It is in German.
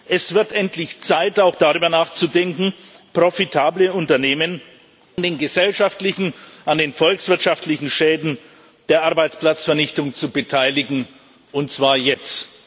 Es wird endlich Zeit, auch darüber nachzudenken, profitable Unternehmen an den gesellschaftlichen, an den volkswirtschaftlichen Schäden der Arbeitsplatzvernichtung zu beteiligen, und zwar jetzt.